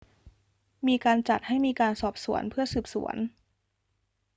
มีการจัดให้มีการสอบสวนเพื่อสืบสวน